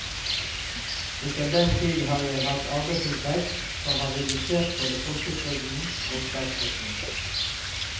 Etter den tid har jeg hatt arbeidsinntekt som har redusert både folketrygden og statspensjonen.